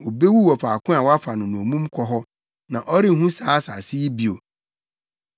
Obewu wɔ faako a wɔafa no nnommum kɔ hɔ; na ɔrenhu saa asase yi bio.”